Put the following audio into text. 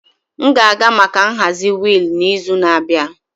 M ga-aga maka nhazi wheel n'izu na-abịa.